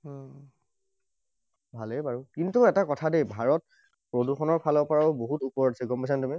ভালেই বাৰু। কিন্তু এটা কথা দেই। ভাৰত প্ৰদূষণৰ ফালৰ পৰাও বহুত ওপৰত আছে, গম পাইছা নে তুমি?